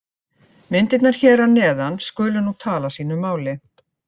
Myndirnar hér að neðan skulu nú tala sínu máli.